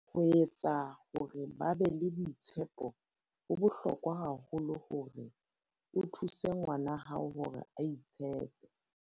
Ho etsa hore ba be le boitshepoHo bohlokwa haholo hore o thuse ngwana wa hao hore a itshepe.